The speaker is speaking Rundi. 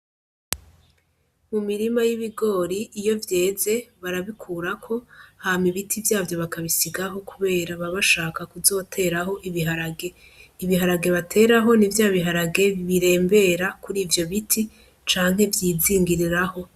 Mu mirima y'ibigori iyo vyeze barabikurako hama ibiti vyavyo bakabisigaho kubera baba bashaka kuzoteraho ibiharage, ibiharage bateraho ni vyabiharage birembera kuri ivyo biti canke vyizingiriraho.